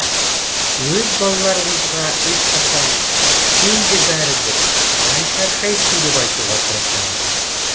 өз балаларыңызға ешқашан сенде бәрі бір қалай шаршайсың деп айтуға тырысамыз